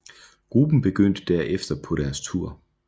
Gruppen begyndte derefter på deres tour